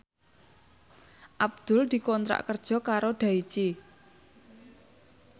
Abdul dikontrak kerja karo Daichi